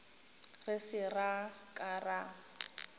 re se ra ka ra